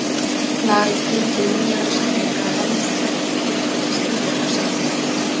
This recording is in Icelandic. Lagalegt gildi munnlegra samninga er almennt jafnt gildi skriflegra samninga.